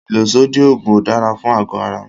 ìlòsódì òògùn ò dára fún ago ara.